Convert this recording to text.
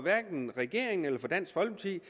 regeringen eller for dansk folkeparti